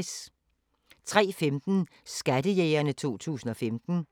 03:15: Skattejægerne 2015